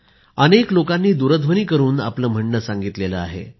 अनेक लोकांनी दुरध्वनी करून आपले म्हणणे सांगितले आहे